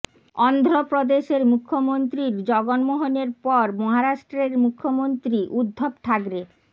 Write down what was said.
অন্ধ্রপ্রদেশের মুখ্যমন্ত্রীর জগন মোহনের পর মহারাষ্ট্রের মুখ্যমন্ত্রী উদ্ধব ঠাকরে